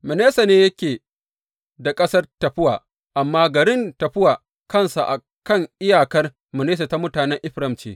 Manasse ne yake da ƙasar Taffuwa, amma garin Taffuwa kansa, a kan iyakar Manasse ta mutanen Efraim ce.